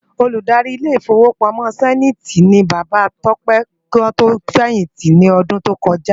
Ôlúdári Ilé Ifówópámò Sèniti ni Baba Tope kiwòn tó fèyinti lòdùn tókòjá